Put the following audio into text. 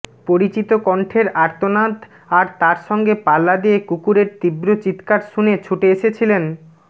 পরিচিত কন্ঠের আর্তনাদ আর তার সঙ্গে পাল্লা দিয়ে কুকুরের তীব্র চিৎকার শুনে ছুটে এসেছিলেন